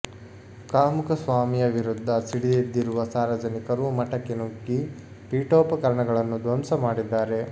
ಕಾಮುಕ ಸ್ವಾಮಿಯ ವಿರುದ್ಧ ಸಿಡಿದೆದ್ದಿರುವ ಸಾರ್ವಜನಿಕರು ಮಠಕ್ಕೆ ನುಗ್ಗಿ ಪೀಠೋಪಕರಣಗಳನ್ನು ಧ್ವಂಸ ಮಾಡಿದ್ದಾರೆ